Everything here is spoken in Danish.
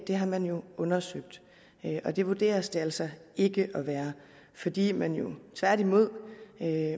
har man jo undersøgt det vurderes det altså ikke at være fordi man jo tværtimod